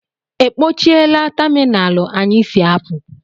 E kpochaala tamịnalụ anyị si apụ?